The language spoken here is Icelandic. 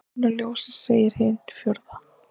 Áður en kemur ljósið segir hin fjórða.